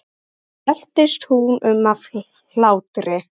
Síðan veltist hún um af hlátri.